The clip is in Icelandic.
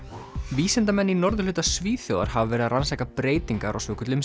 vísindamenn í norðurhluta Svíþjóðar hafa verið að rannsaka breytingar á svokölluðum